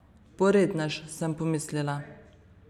Porednež, sem pomislila.